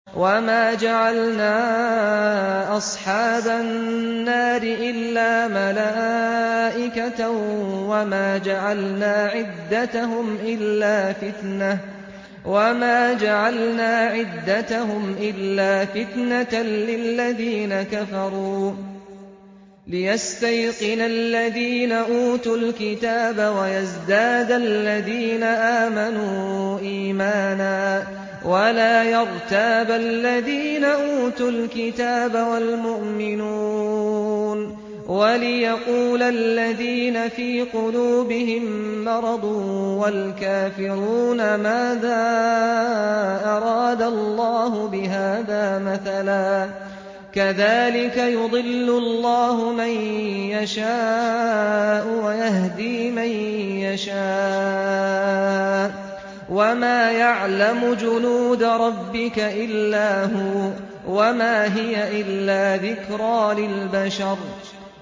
وَمَا جَعَلْنَا أَصْحَابَ النَّارِ إِلَّا مَلَائِكَةً ۙ وَمَا جَعَلْنَا عِدَّتَهُمْ إِلَّا فِتْنَةً لِّلَّذِينَ كَفَرُوا لِيَسْتَيْقِنَ الَّذِينَ أُوتُوا الْكِتَابَ وَيَزْدَادَ الَّذِينَ آمَنُوا إِيمَانًا ۙ وَلَا يَرْتَابَ الَّذِينَ أُوتُوا الْكِتَابَ وَالْمُؤْمِنُونَ ۙ وَلِيَقُولَ الَّذِينَ فِي قُلُوبِهِم مَّرَضٌ وَالْكَافِرُونَ مَاذَا أَرَادَ اللَّهُ بِهَٰذَا مَثَلًا ۚ كَذَٰلِكَ يُضِلُّ اللَّهُ مَن يَشَاءُ وَيَهْدِي مَن يَشَاءُ ۚ وَمَا يَعْلَمُ جُنُودَ رَبِّكَ إِلَّا هُوَ ۚ وَمَا هِيَ إِلَّا ذِكْرَىٰ لِلْبَشَرِ